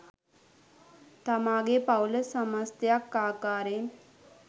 තමා ගේ පවූල සමස්තයක් ආකාරයෙන්